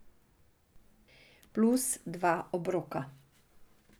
Plus dva obroka.